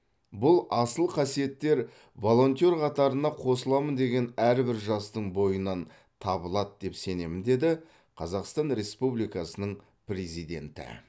бұл асыл қасиеттер волонтер қатарына қосыламын деген әрбір жастың бойынан табылады деп сенемін деді қазақстан республикасының президенті